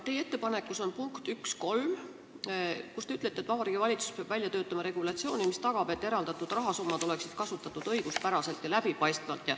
Teie ettepanekus on punkt 1.3, kus te ütlete, et Vabariigi Valitsus peab välja töötama regulatsiooni, mis tagab, et eraldatud rahasummasid kasutataks õiguspäraselt ja läbipaistvalt.